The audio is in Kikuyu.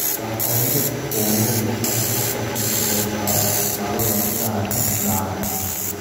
Ndahoire kũhũrwo mbica na Patricia Eva, Maroe Berani na angĩ.